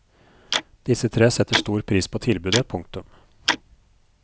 Disse tre setter stor pris på tilbudet. punktum